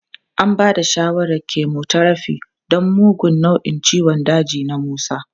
An ba da shawarar chemotherapy don mugun nau'in ciwon daji na Musa.